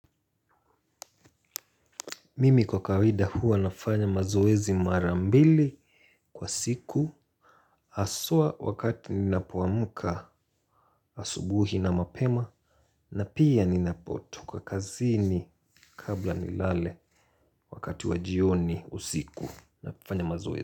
Mimi kwa kawaida huwa nafanya mazoezi mara mbili kwa siku haswa wakati ninapoamka asubuhi na mapema na pia ninapotoka kazini kabla nilale wakati wa jioni usiku nafanya mazoezi.